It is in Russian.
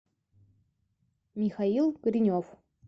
михаил коренев